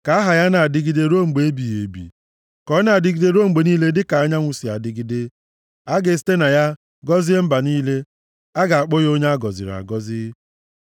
Ka aha ya na-adịgide ruo mgbe ebighị ebi; ka ọ na-adịgide ruo mgbe niile dịka anyanwụ si adịgide. A ga-esite na ya gọzie mba niile, a ga-akpọ ya onye a gọziri agọzi.